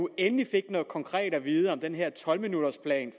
endelig fik noget konkret at vide om den her tolv minutters plan